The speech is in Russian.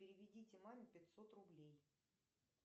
переведите маме пятьсот рублей